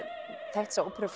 þekkt þessa óperu